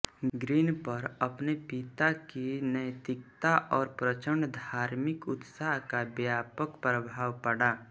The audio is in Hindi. ग्रीन पर अपने पिता की नैतिकता और प्रचण्ड धार्मिक उत्साह का व्यापक प्रभाव पड़ा